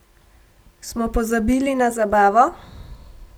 Smo pozabili na zabavo?